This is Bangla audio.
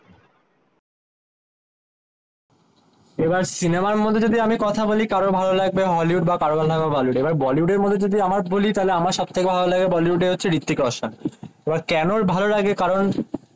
এবার সিনেমার মধ্যে যদি আমি কথা বলি কারোর ভালো লাগবে হলিউড বা কারোর বলো লাগবে বলিউড এবার বলিউড মধ্যে যদি আমার বলি তাহলে আমার সব থেকে ভালো লাগে বলিউড হচ্ছে হৃত্বিক রোশান এবার কেন ভালো লাগে কারণ